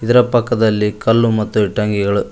ಇದರ ಪಕ್ಕದಲ್ಲಿ ಕಲ್ಲು ಮತ್ತು ಇಟ್ಟಂಗಿಗಳು ಇ--